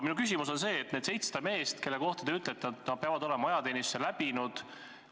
Minu küsimus puudutab neid 700 meest, kelle kohta te ütlete, et nad peavad olema ajateenistuse läbi teinud.